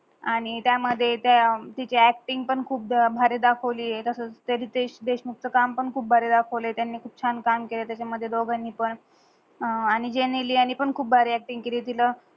आणि त्या मधे ते तिझ्या अक्टिंग पण खूप भारी दाखवली आहे तसच ते रितेश देशमुखच काम पण खूप भारी दाखवली त्यान्ही. खूप छान काम केले त्याझा मधे दोगांनी पण. आणि जेन्निली आणि पण खूप भारी अक्टिंग केली तिला